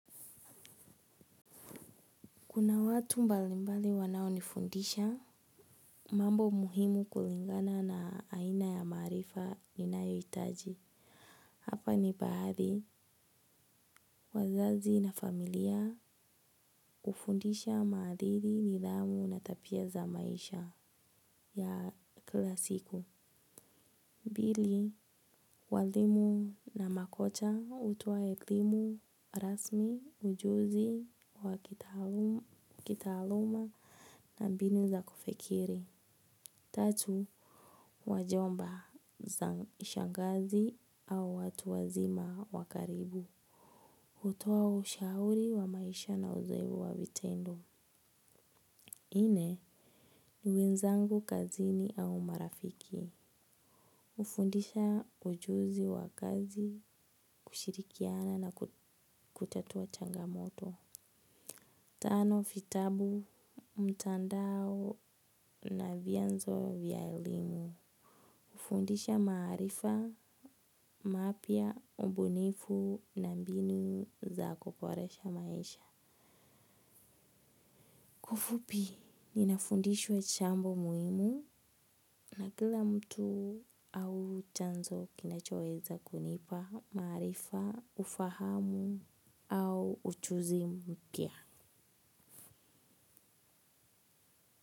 Kuna watu mbalimbali wanao nifundisha, mambo muhimu kulingana na aina ya maarifa ninayohitaji. Hapa ni pahali, wazazi na familia hufundisha maadili nidhamu na tabia za maisha ya kila siku. Pili, walimu na makocha hutoa elimu rasmi, ujuzi wa kitaaluma na mbinu za kufikiri. Tatu, wajomba na shangazi au watu wazima wa karibu. Hutoa ushauri wa maisha na udhaifu wa vitendo. Nne, ni wenzangu kazini au marafiki. Hufundisha ujuzi wa kazi kushirikiana na kutatua changamoto. Tano, vitabu, mtandao na vyanzo vya elimu. Hufundisha maarifa, mapya, ubunifu na mbinu za kuboresha maisha. Ufupi, ninafundishwa jambo muhimu na kila mtu au chanzo kinachoweza kunipa maarifa, ufahamu au ujuzi mpya.